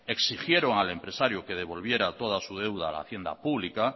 exigieron al empresario que devolviera toda su deuda a la hacienda pública